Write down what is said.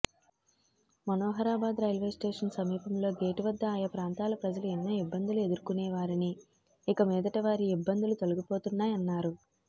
Manoharabad railway station సమీపంలో gate వద్ద ఆయా ప్రాంతాల ప్రజలు ఎన్నో ఇబ్బందులు ఎదుర్కొనేవారని ఇకమీదట వారి ఇబ్బందులు తొలగిపోతున్నాయన్నారు